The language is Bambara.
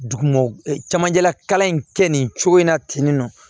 Duguma camanjɛlakalan in kɛ nin cogo in na ten nɔ